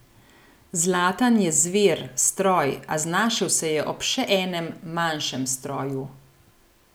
Zlatan je zver, stroj, a znašel se je ob še enem, manjšem stroju.